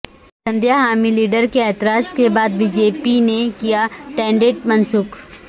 سندھیا حامی لیڈرکے اعتراض کے بعد بی جے پی نے کیا ٹینڈر منسوخ